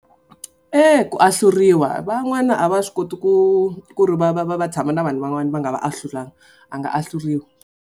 Eya ku ahluriwa van'wana a va swi koti ku ku ri va va va va tshama na vanhu van'wana va nga va ahlulananga a nga ahluriwa.